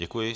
Děkuji.